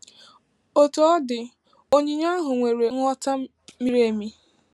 Otú ọ dị, onyinye ahụ nwere nghọta miri emi.